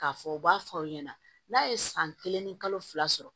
K'a fɔ u b'a fɔ aw ɲɛna n'a ye san kelen ni kalo fila sɔrɔ